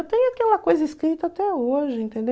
Eu tenho aquela coisa escrita até hoje,